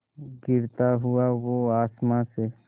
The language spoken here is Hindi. गिरता हुआ वो आसमां से